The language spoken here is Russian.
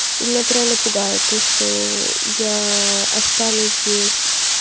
и меня это реально пугает то что я останусь без